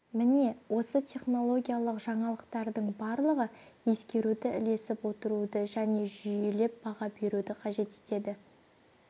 міне осы технологиялық жаңалықтардың барлығы ескеруді ілесіп отыруды және жүйелеп баға беруді қажет етеді